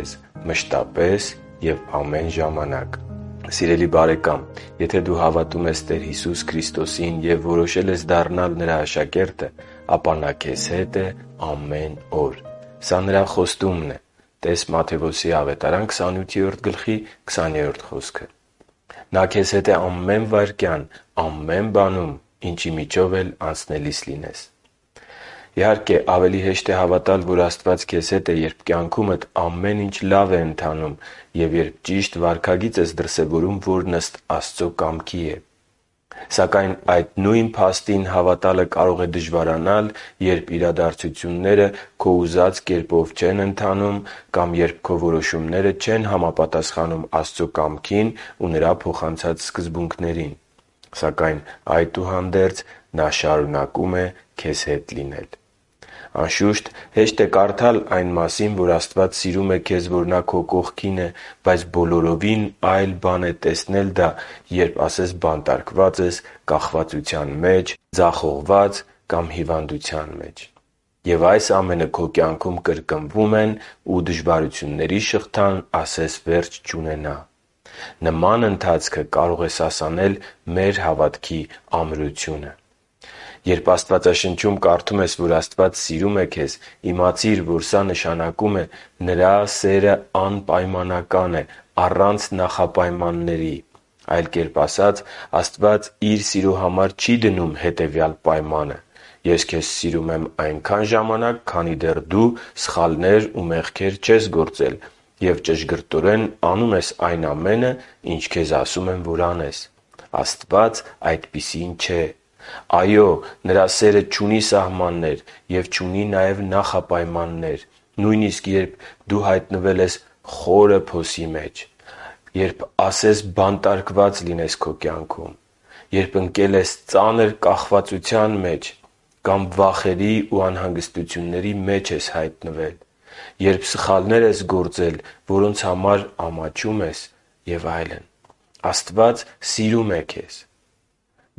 է մշտապես և ամեն ժամանակ Սիրելի՛ բարեկամ, եթե դու հավատում ես Քրիստոսին ու որոշել ես դառնալ Նրա աշակերտը, ապա Նա քեզ հետ է ամեն օր։ Սա Նրա խոստումն է (տե՛ս Մատթեոս 28.20 խոսքը)։ Նա քեզ հետ է ամեն վայրկյան։ Ամեն բանում, ինչի միջով էլ որ անցնելիս լինես։ Ավելի հեշտ է հավատալ, որ Աստված քեզ հետ է, երբ կյանքումդ ամեն ինչ լավ է ընթանում և երբ ճիշտ վարքագիծ ես դրսևորում, որն ըստ Աստծո կամքի է։ Սակայն այդ նույն փաստին հավատալը կարող է դժվարանալ, երբ իրադարձությունները քո ուզած կերպով չեն դասավորվում, կամ երբ քո որոշումները չեն համապատասխանում Աստծո կամքին ու փոխանցած սկզբունքներին։ Սակայն, այդուհանդերձ, Նա շարունակում է քեզ հետ լինել։ Անշուշտ, հեշտ է կարդալ այն մասին, որ Աստված սիրում է քեզ, որ Նա քո կողքին է, բայց բոլորովին այլ բան է, տեսնել դա երբ բանտում ես, կախվածության մեջ, ձախողված ու հիվանդ, և այս ամենը քո կյանքում կրկնվում են ու դժվարությունների շղթան ասես վերջ չունենա։ Նման ընթացքը կարող է սասանել մեր հավատքի ամրությունը։ Երբ Աստվածաշնչում կարդում ես, որ Աստված սիրում է քեզ, իմացիր, որ սա նշանակում է Նրա սերն անպայմանական է՝ առանց նախապայմանների։ Այլ կերպ ասած, Աստված Իր սիրո համար չի դնում հետևյալ պայմանը․ «Ես քեզ սիրում եմ այնքան ժանանակ, քանի դեռ դու սխալներ ու մեղքեր չես գործել և ճշգրտորեն անում ես այն ամենն, ինչ քեզ ասում եմ, որ անես»։ Աստված այդպիսին չէ։ Այո՛, Նրա սերը չունի սահմաններ և չունի նաև նախապայմաններ։ Նույնիսկ երբ… - Խորը փոսի մեջ ես հայտնվել։ - Ասես բանտարկված լինես։ - Ընկել ես ծանր կախվածության մեջ։ - Վախերի ու անհանգստությունների մեջ ես հայտնվել։ - Սխալներ ես գործել, որոնց համար ամաչում ես։ - Եվ այլն։ …Աստված սիրում է քեզ։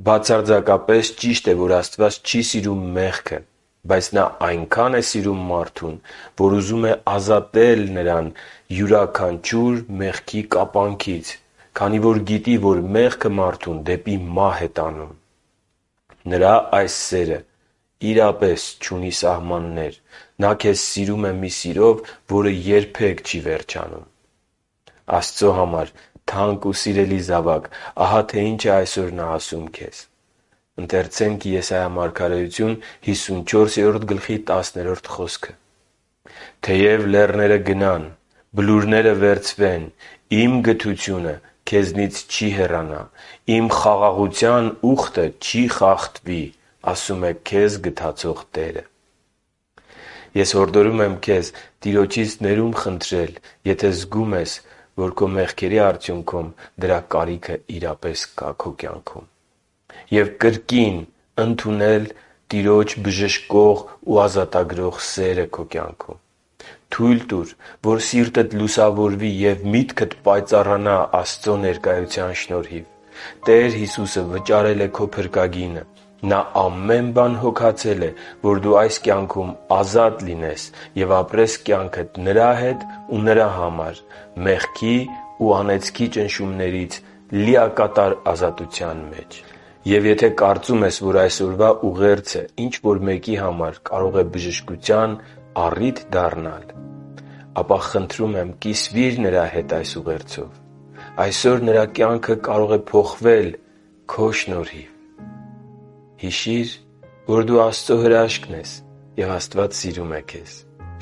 Բացարձակապես ճիշտ է, որ Աստված չի սիրում մեղքը։ Բայց նա այնքա՜ն է սիրում մարդուն, որ ուզում է նրան ազատել յուրաքանչյուր մեղքի կապանքներից, քանի որ գիտի, որ մեղքը մարդուն դեպի մահ է տանում։ Նրա այս սերը չունի սահմաններ։ Նա ՔԵԶ սիրում է մի սիրով, որը երբեք չի վերջանում։ Աստծո համար թանկ ու սիրելի՛ զավակ, ահա թե ինչ է այսօր Նա քեզ ասում. «Թեև լեռները գնան, բլուրները վերցվեն, Իմ գթությունը քեզնից չի հեռանա, Իմ խաղաղության ուխտը չի խախտվի»,- ասում է քեզ գթացող Տերը (Եսայիա 54․10)։ Ես հորդորում եմ քեզ Տիրոջից ներում խնդրել, եթե զգում ես, որ դրա կարիքը կա, և կրկին քո կյանքում ընդունել Նրա բժշկող ու ազատագրող սերը։ Թո՛ւյլ տուր, որ սիրտդ լուսավորվի և միտքդ պայծառանա Աստծո ներկայության շնորհիվ։ Տեր Հիսուսը վճարել է քո փրկագինը։ Նա ամեն բան հոգացել է, որ դու այս կյանքում ազատ լինես ու ապրես կյանքդ Նրա հետ ու Նրա համար՝ մեղքի ու անեծքի ճնշումներից լիակատար ազատության մեջ։ Եվ եթե կարծում ես, որ այսօրվա ուղերձը քեզ համար չէր, բայց գիտես ինչ-որ մեկին, ում համար բժշկություն կարող են դառնալ այլ խոսքերը, ապա, խնդրում եմ, կիսվիր նրա հետ այս ուղերձով։ Այսօր նրա կյանքը կարող է փոխվել քո շնորհիվ։ Հիշի՛ր, որ դու Աստծո հրաշքն ես, և Աստված սիրում է քեզ։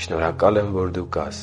Շնորհակալ եմ, որ դու կա՛ս։